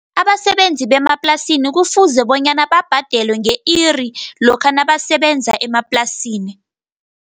Abasebenzi bemaplasini kufuze bonyana, babhadelwe nge-iri, lokha nabasebenza emaplasini.